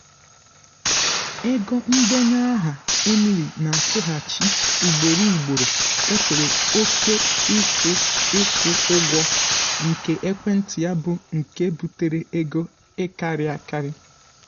ego ndenye aha emily na-akwụghachi ugboro ugboro gafere oke ịkwụ ịkwụ ụgwọ nke ekwentị ya bụ nke butere ego ịkarị akarị.